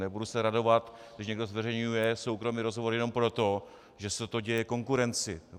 Nebudu se radovat, když někdo zveřejňuje soukromý rozhovor jenom proto, že se to děje konkurenci.